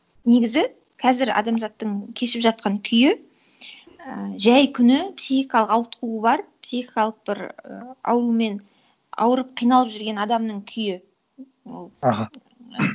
негізі қазір адамзаттың кешіп жатқан күйі і жай күні психикалық ауытқуы бар психикалық бір і аурумен ауырып қиналып жүрген адамның күйі ол аха